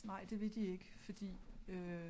Nej det vil de ikke fordi